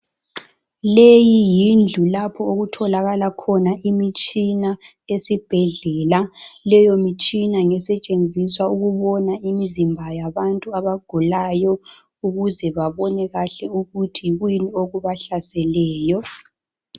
Leyi yindlu lapho okutholakala khona imitshina esibhedlela leyo mitshina ngesetshenziswa ukubona imizimba yabantu abagulayo ukuze babone kahle ukuthi kuyini okubahlaseleyo